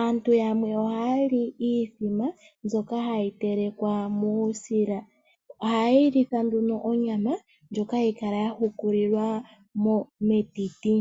aantu yamwe ohali iithima mbyoka hayi telekwa muusila oha yeyilitha nduno onyama ndjoka hayikala yahukulilwa metiti.